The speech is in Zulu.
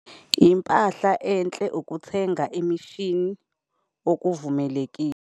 Impahla enhle - ukuthenga imishini okuvumelekile